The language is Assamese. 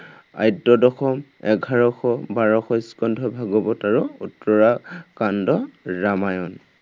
আদ্য় দশম, এঘাৰশ, বাৰশ স্কন্ধ ভগৱত আৰু উত্তৰাকাণ্ড ৰামায়ণ।